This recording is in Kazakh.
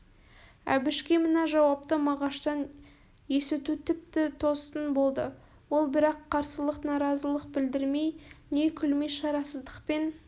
әбішке мына жауапты мағаштан есіту тіпті тосын болды ол бірақ қарсылық наразылық білдірмей не күлмей шарасыздықпен